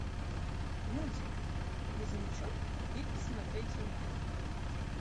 мультик грузовичок пик смотреть онлайн